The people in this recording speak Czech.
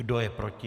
Kdo je proti?